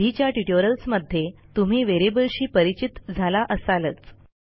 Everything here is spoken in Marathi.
आधीच्या ट्युटोरियल्समध्ये तुम्ही व्हेरिएबल्सशी परिचित झाला असालच